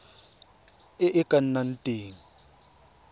e e ka nnang teng